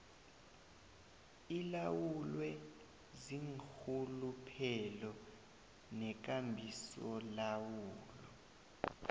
ilawulwe ziinrhuluphelo nekambisolawulo